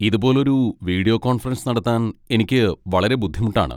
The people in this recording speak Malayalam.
ഇതുപോലൊരു വീഡിയോ കോൺഫറൻസ് നടത്താൻ എനിക്ക് വളരെ ബുദ്ധിമുട്ടാണ്.